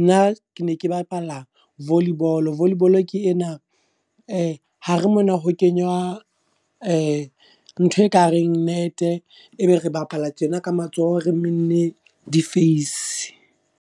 Nna ke ne ke bapala volley ball, volley ball ke ena e hare mona ho kenywa e ntho e kareng nete, ebe re bapala tjena ka matsoho re menne difeisi.